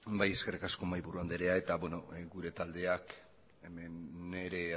bai eskerrik asko mahaiburu andrea eta beno gure taldeak hemen ere